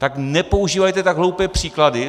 Tak nepoužívejte tak hloupé příklady.